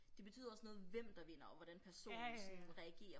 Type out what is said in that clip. Det betyder også noget hvem der vinder og hvordan personen sådan reagerer